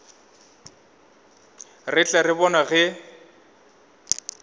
re tle re bone ge